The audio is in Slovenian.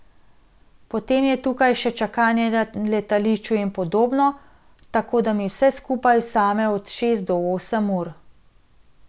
Potem je tukaj še čakanje na letališču in podobno, tako da mi vse skupaj vzame od šest do osem ur.